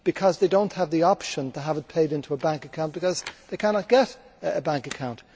they do not have the option to have it paid into a bank account because they cannot get a bank account.